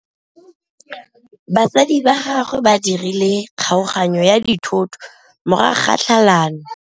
Batsadi ba gagwe ba dirile kgaoganyô ya dithoto morago ga tlhalanô.